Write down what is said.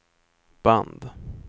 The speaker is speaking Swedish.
band